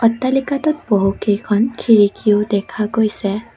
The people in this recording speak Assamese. অট্টালিকাটোত বহু কেইখন খিৰিকীও দেখা গৈছে।